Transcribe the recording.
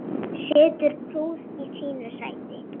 Situr prúð í sínu sæti.